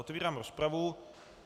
Otevírám rozpravu.